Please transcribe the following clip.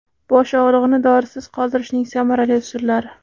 Bosh og‘rig‘ini dorisiz qoldirishning samarali usullari.